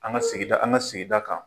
An ka sigida, an ka sigida kan.